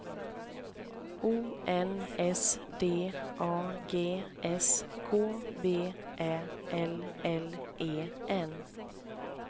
O N S D A G S K V Ä L L E N